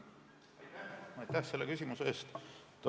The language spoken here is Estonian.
Aitäh selle küsimuse eest!